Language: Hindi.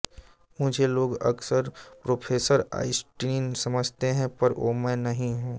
मुझे लोग अक्सर प्रोफेसर आइंस्टीन समझते हैं पर वो मैं नहीं हूँ